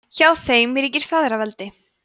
hjá þeim ríkir feðraveldi